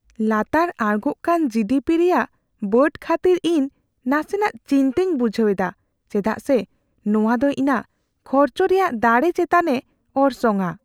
ᱞᱟᱛᱟᱨ ᱟᱬᱜᱳᱜ ᱠᱟᱱ ᱡᱤᱹᱰᱤᱹᱯᱤ ᱨᱮᱭᱟᱜ ᱵᱟᱹᱰ ᱠᱷᱟᱹᱛᱤᱨ ᱤᱧ ᱱᱟᱥᱮ ᱪᱤᱱᱛᱟᱹᱧ ᱵᱩᱡᱷᱟᱹᱣ ᱮᱫᱟ ᱪᱮᱫᱟᱜ ᱥᱮ ᱱᱚᱶᱟ ᱫᱚ ᱤᱧᱟᱹᱜ ᱠᱷᱚᱨᱪ ᱨᱮᱭᱟᱜ ᱫᱟᱲᱮ ᱪᱮᱛᱟᱱᱮ ᱚᱨᱥᱚᱝᱼᱟ ᱾